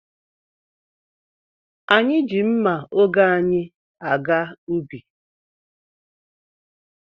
Anyị ji mma oge anyị aga ubi.